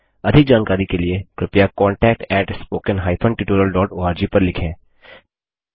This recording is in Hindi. अधिक जानकारी के लिए कृपया contactspoken tutorialorg पर लिखें